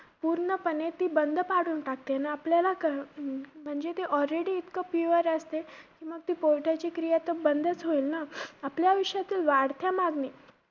पूर्णपणे ती बंद पडून टाकते. आपल्याला क~ अं म्हणजे ते already इतकं pure असते, मग ते क्रिया तर बंद चं होईल नं? आपल्या आयुष्यातील वाढत्या मागणी